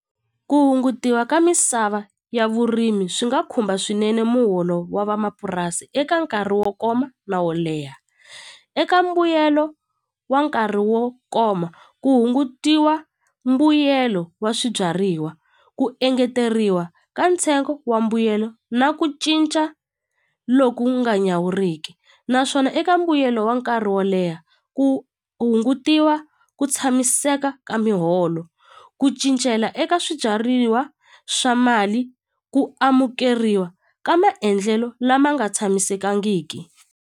Ku hungutiwa ka misava ya vurimi swi nga khumba swinene muholo wa vamapurasi eka nkarhi wo koma na wo leha eka mbuyelo wa nkarhi wo koma ku hungutiwa mbuyelo wa swibyariwa ku engeteriwa ka ntsengo wa mbuyelo na ku cinca loku nga nyawuriki naswona eka mbuyelo wa nkarhi wo leha ku hungutiwa ku tshamiseka ka miholo ku cincela eka swibyariwa swa mali ku amukeriwa ka maendlelo lama nga tshamisekangiki.